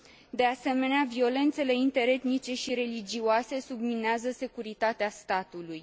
De asemenea, violențele interetnice și religioase subminează securitatea statului.